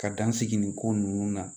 Ka dan sigi nin ko ninnu na